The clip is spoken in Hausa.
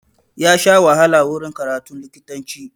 Ya sha wahala wurin karatun likitanci.